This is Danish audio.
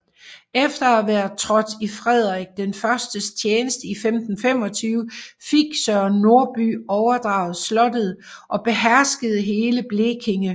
Efter at være trådt i Frederik Is tjeneste i 1525 fik Søren Norby overdraget slottet og beherskede hele Blekinge